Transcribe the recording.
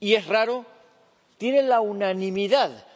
‑y es raro‑, tiene la unanimidad